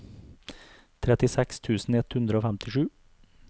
trettiseks tusen ett hundre og femtisju